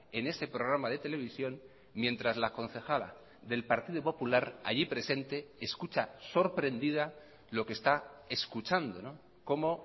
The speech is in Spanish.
en ese programa de televisión mientras la concejala del partido popular allí presente escucha sorprendida lo que está escuchando cómo